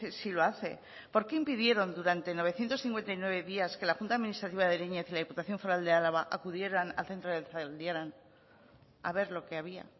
si lo hace por qué impidieron durante novecientos cincuenta y nueve días que la junta administrativa de ariñe y la diputación foral de álava acudieran al centro de zaldiaran a ver lo que había